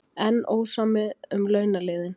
Enn ósamið um launaliðinn